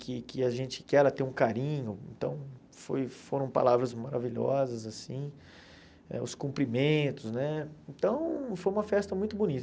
que que a gente que ela tem um carinho, então foi foram palavras maravilhosas assim, é os cumprimentos né, então foi uma festa muito bonita.